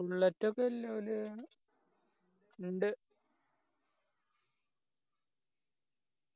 bullet ഒക്കെ എല്ലാവല് ഇണ്ട്